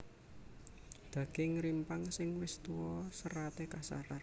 Daging rimpang sing wis tuwa seraté kasar